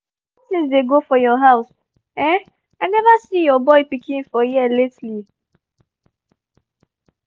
how things dey go for house? um i never see your boy pikin for here lately